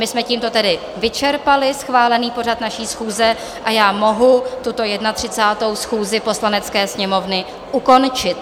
My jsme tímto tedy vyčerpali schválený pořad naší schůze a já mohu tuto 31. schůzi Poslanecké sněmovny ukončit.